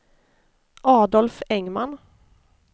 Adolf Engman